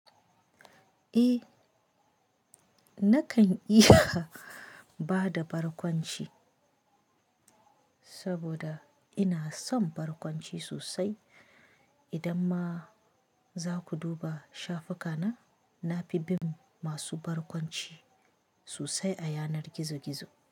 Eh, nakan iya bada barkwanci saboda ina son barkwanci sosai. Idan ma za ku duba shafuka na, na fi bin masu barkwanci sosai a yanar gizo-gizo.